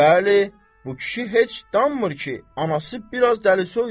Bəli, bu kişi heç danmır ki, anası biraz dəlisoydur.